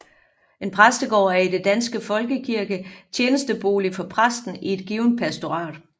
En præstegård er i Den danske Folkekirke tjenestebolig for præsten i et givent pastorat